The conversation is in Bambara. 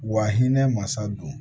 Wa hinɛ masa don